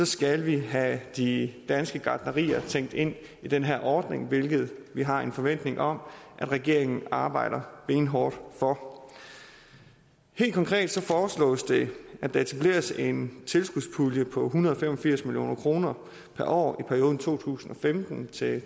skal have de danske gartnerier tænkt ind i den her ordning hvilket vi har en forventning om at regeringen arbejder benhårdt på helt konkret foreslås det at der etableres en tilskudspulje på en hundrede og fem og firs million kroner per år i perioden to tusind og femten til